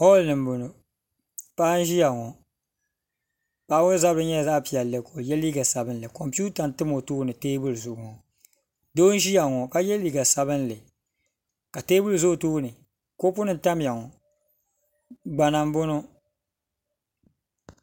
Hɔll ni n bɔŋo paɣa n ʒiya ŋɔ paɣa ŋɔ zabiri nyɛla zaɣa piɛlli ka o yɛ liiga sabinli konpiwta n tam o tooni teebuli zuɣu ŋɔ doo n ʒiya ŋɔ ka yɛ liiga sabinli ka teebuli za o tooni kɔpu nim n tam ya ŋɔ gbana n bɔŋo.